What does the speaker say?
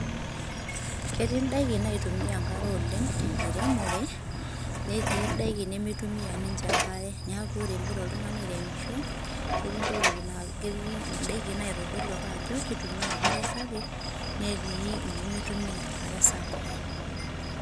ketii indaiki naitumia enkare oleng', te enkiremore, netii indaiki nemeitumia ninche enkare. neaku ore ingira oltung'ani airemisho, ketii indaiki naitodolu ake ajo keitumia enkare sapuk netii nemeitumia enkare sapuk.